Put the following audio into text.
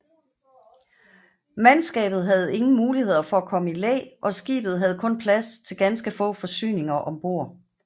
Mandskabet havde ingen muligheder for at komme i læ og skibet havde kun plads til ganske få forsyninger ombord